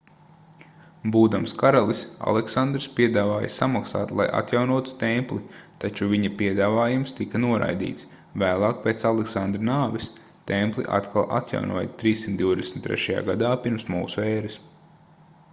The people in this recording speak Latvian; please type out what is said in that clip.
būdams karalis aleksandrs piedāvāja samaksāt lai atjaunotu templi taču viņa piedāvājums tika noraidīts vēlāk pēc aleksandra nāves templi atkal atjaunoja 323. gadā p.m.ē